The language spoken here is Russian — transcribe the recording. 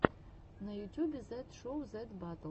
на ютюбе зет шоу зет батл